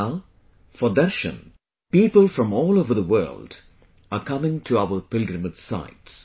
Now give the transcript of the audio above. Now, for 'darshan', people from all over the world are coming to our pilgrimage sites